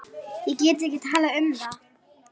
Ég get ekki talað um það.